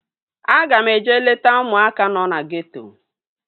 Aga m eje leta ụmụaka nọ na geeto